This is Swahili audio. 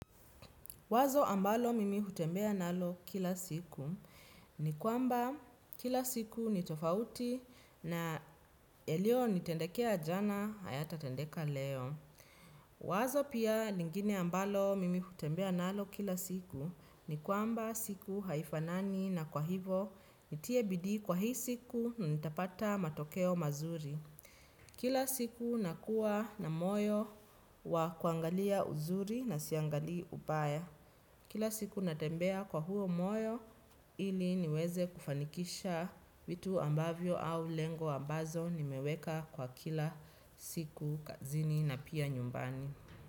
Wazo ambalo mimi utembea nalo kila siku ni kwamba kila siku ni tofauti na yalio nitendekea jana hayatatendeka leo. Wazo pia lingine ambalo mimi hutembea nalo kila siku ni kwamba siku haifanani na kwa hivo nitie bidi kwa hii siku na nitapata matokeo mazuri. Kila siku nakuwa na moyo wa kuangalia uzuri na siangalii ubaya. Kila siku natembea kwa huo moyo ili niweze kufanikisha vitu ambavyo au lengo ambazo nimeweka kwa kila siku kazini na pia nyumbani.